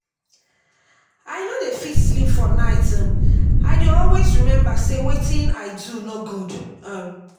i no dey fit sleep for night um i dey always remember say wetin i do no good um